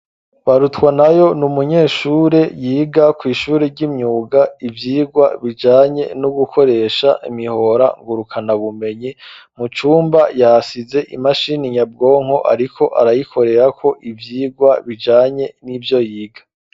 Barutwanayo n’umunyeshure yiga ku ishuri ry'imyuga ivyirwa bijanye no gukoresha imihora ngurukana bumenyi mucumba yasize imashini nyabwonko ariko arayikorera ko ibyigwa bijanye n'ivyo yiga.